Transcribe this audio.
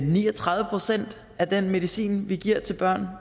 ni og tredive procent af den medicin vi giver til børn